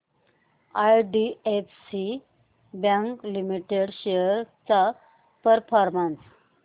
IDFC bank limited shares चा performance